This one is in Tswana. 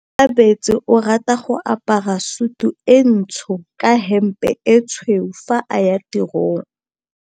Onkabetse o rata go apara sutu e ntsho ka hempe e tshweu fa a ya tirong.